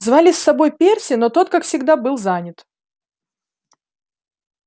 звали с собой перси но тот как всегда был занят